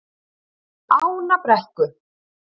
Ánabrekku